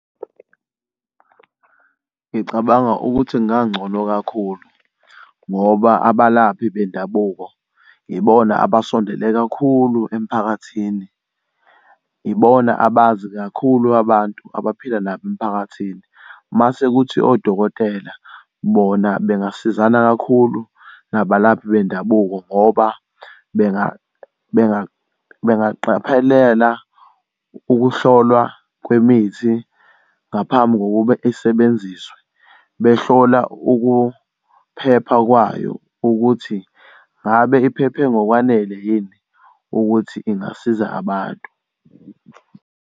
Ngicabanga ukuthi kungangcono kakhulu ngoba abalaphi bendabuko yibona abasondele kakhulu emphakathini, ibona abazi kakhulu abantu abaphila nabo emphakathini. Mase kuthi odokotela bona bengasizana kakhulu nabalaphi bendabuko ngoba bengaqaphelela ukuhlolwa kwemithi ngaphambi kokuba esebenziswe, behlola ukuphepha kwayo ukuthi ngabe iphephe ngokwanele yini ukuthi ingasiza abantu.